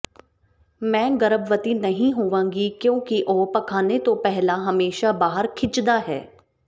ਮੈਂ ਗਰਭਵਤੀ ਨਹੀਂ ਹੋਵਾਂਗੀ ਕਿਉਂਕਿ ਉਹ ਪਖਾਨੇ ਤੋਂ ਪਹਿਲਾਂ ਹਮੇਸ਼ਾਂ ਬਾਹਰ ਖਿੱਚਦਾ ਹੈ